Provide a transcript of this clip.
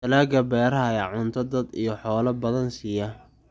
Dalagga beeraha ayaa cunto dad iyo xoolo badan siiya.